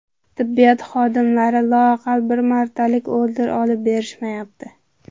Tibbiyot xodimlari loaqal bir martalik order olib berishmayapti.